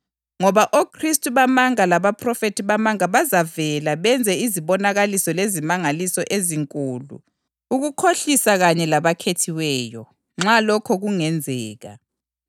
Ngoba oKhristu bamanga labaphrofethi bamanga bazavela benze izibonakaliso lezimangaliso ezinkulu ukukhohlisa kanye labakhethiweyo, nxa lokho kungenzeka.